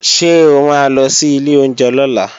Ṣé o ma lọ sí ilé oúnjẹ lọ́la?